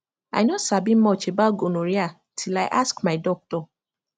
i no sabi much about gonorrhea till i ask my doctor